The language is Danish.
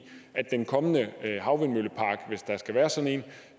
at den kommende havvindmøllepark hvis der skal være sådan